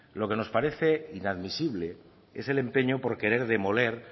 lo que nos parece inadmisible es el empeño por querer demoler